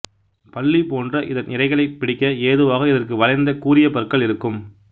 பல்லி போன்ற இதன் இரைகளைப் பிடிக்க ஏதுவாக இதற்கு வளைந்த கூரியபற்கள் இருக்கும்